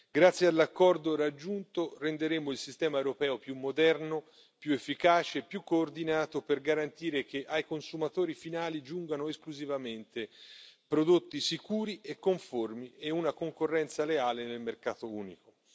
Grazie all'accordo raggiunto, renderemo il sistema europeo più moderno, più efficace e più coordinato per garantire che ai consumatori finali giungano esclusivamente prodotti sicuri e conformi e una concorrenza leale nel mercato unico.